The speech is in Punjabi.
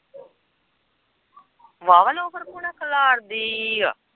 ਵਾਹ ਵਾਂ ਲੋਫ਼ਰਪੂਣਾ ਖਿਲਾਰਦੀ ਹੀ ਏ।